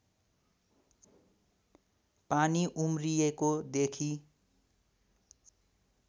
पानी उम्रिएको देखि